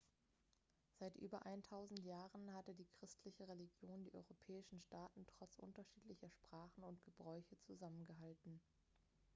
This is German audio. seit über eintausend jahren hatte die christliche religion die europäischen staaten trotz unterschiedlicher sprachen und gebräuche zusammengehalten